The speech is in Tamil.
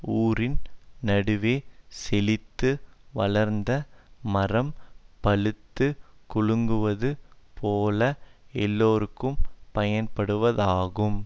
ஊரின் நடுவே செழித்து வளர்ந்த மரம் பழுத்துக் குலுங்குவது போல எல்லோர்க்கும் பயன்படுவதாகும்